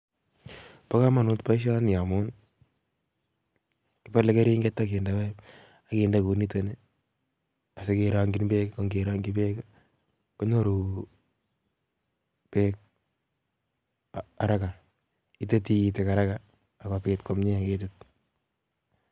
Bo kamanut boisioni amun, kipole keringet akinde paipit akinde kounitokni asike rongchin beek, ak kerongchin beek konyoru beek haraka itei tigitik haraka akomnye ketit.